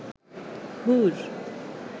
হুর